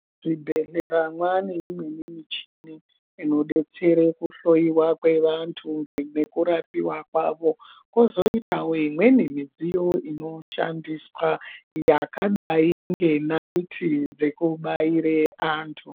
Muzvibhedhlera mane imweni michini inobetsera pakuhloiwa kweantu nekurapiwa kwavo. Kozoitavo imweni midziyo inoshandiswa yakadai ngenaiti dzekubaire antu.